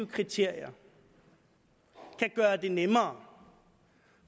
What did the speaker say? kriterier kan gøre det nemmere